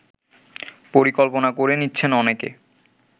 পরিকল্পনা করে নিচ্ছেন অনেকে